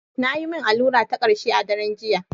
Na yi min allura ta karshe a daren jiya.